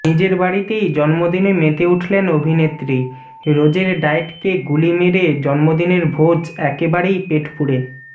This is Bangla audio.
নিজের বাড়িতেই জন্মদিনে মেতে উঠলেন অভিনেত্রী রোজের ডায়েটকে গুলি মেরে জন্মদিনের ভোজ একেবারেই পেটপুরে